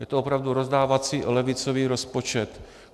Je to opravdu rozdávací levicový rozpočet.